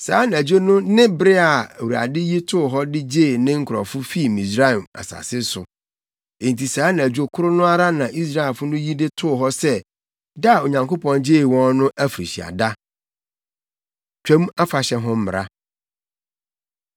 Saa anadwo no ne bere a Awurade yi too hɔ de gyee ne nkurɔfo fii Misraim asase so. Enti saa anadwo koro no ara na Israelfo no yi de too hɔ sɛ da a Onyankopɔn gyee wɔn no afirihyia da. Twam Afahyɛ Ho Mmara